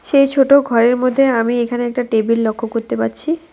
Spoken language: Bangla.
সেই ছোট ঘরের মধ্যে আমি এইখানে একটা টেবিল লক্ষ্য করতে পারছি।